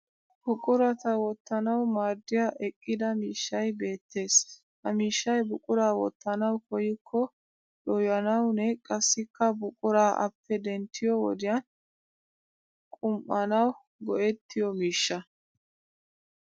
Buqurata wottanawu maaddiya eqqida miishshay beettes. Ha miishshay buquraa wottanawu koyyikko dooyanawunne qassikka buquraa appe denttiyo wodiyan qum'anwu go'ettiyo miishsha.